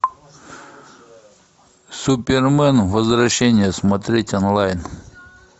супермен возвращение смотреть онлайн